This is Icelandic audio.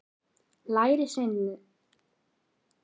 Lærisveinarnir olnboga sig inn í mannþröngina.